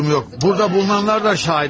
Burada bulunanlar da şahid.